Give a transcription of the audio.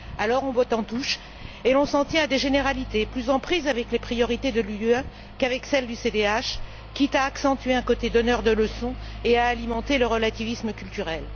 Alors, on botte en touche et l'on s'en tient à des généralités plus en prise avec les priorités de l'Union qu'avec celles du CDH, quitte à accentuer un côté donneur de leçons et à alimenter le relativisme culturel.